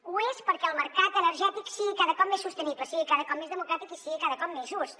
ho és perquè el mercat energètic sigui cada cop més sostenible sigui cada cop més democràtic i sigui cada cop més just